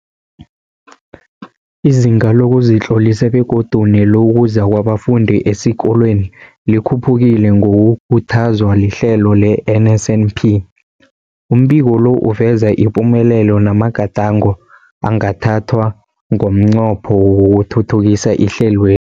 Izinga lokuzitlolisa begodu nelokuza kwabafundi esikolweni likhuphukile ngokukhuthazwa lihlelo le-NSNP. Umbiko lo uveza ipumelelo namagadango angathathwa ngomnqopho wokuthuthukisa ihlelwe